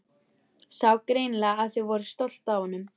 Sá greinilega að þau voru stolt af honum.